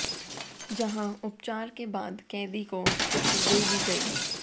जहां उपचार के बाद कैदी को छुट्टी दे दी गई